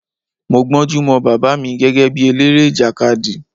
Mo gbónjú mọ Bàbá mi gẹ́gẹ́ bí eléré ìjàkadì.